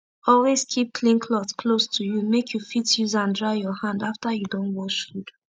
always keep clean cloth close to u make u fit use an dry ur hand after u don wash fud